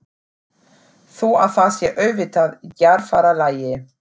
Þó að það sé auðvitað í djarfara lagi.